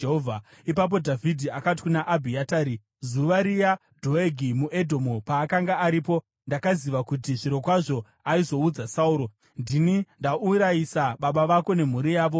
Ipapo Dhavhidhi akati kuna Abhiatari “Zuva riya, Dhoegi muEdhomu paakanga aripo, ndakaziva kuti zvirokwazvo aizoudza Sauro. Ndini ndaurayisa baba vako nemhuri yavo yose.